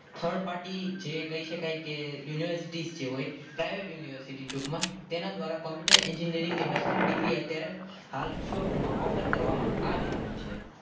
third party જે કહી શકાય કે University જ તેઓએ એક University ટૂંકમાં તેના દ્વારા Computer Engineering ની bachelor degree અત્યારે વિશ્વભરમાં offer કરવામાં આવી રહી છે.